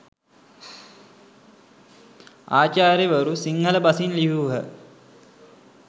ආචාර්යවරු සිංහල බසින් ලියූහ.